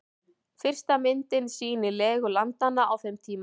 Fyrsta myndin sýnir legu landanna á þeim tíma.